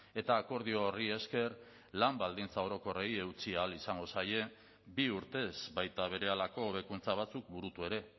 eta akordio horri esker lan baldintza orokorrei eutsi ahal izango zaie bi urtez baita berehalako hobekuntza batzuk burutu ere